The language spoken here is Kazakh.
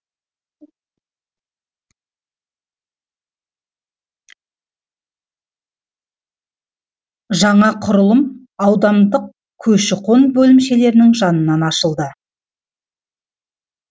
жаңа құрылым аудандық көші қон бөлімшелерінің жанынан ашылды